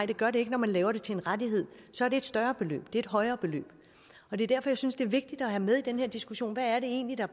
det gør det ikke når man laver det til en rettighed så er det et større beløb det er et højere beløb det er derfor jeg synes det er vigtigt at have med i den her diskussion hvad det egentlig er